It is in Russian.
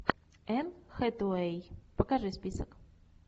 энн хэтэуэй покажи список